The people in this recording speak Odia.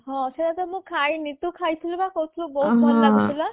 ହଁ ସେଆ ତ ମୁଁ ଖାଇନି ତୁ ଖାଇଥିଲୁ ବା ଖାଇଥିଲୁ ବହୁତ୍ ଭଲ ଲାଗୁଥିଲା